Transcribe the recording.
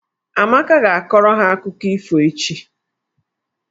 Amaka ga-akọrọ ha akụkọ ifo echi.